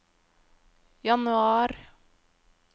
januar